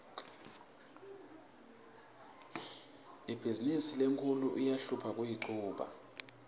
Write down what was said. ibhizimisi lenkhulu iyahlupha kuyichuba